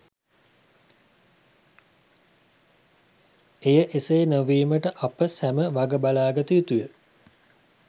එය එසේ නොවීමට අප සැම වග බලා ගත යුතුය.